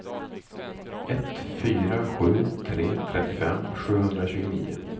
ett fyra sju tre trettiofem sjuhundratjugonio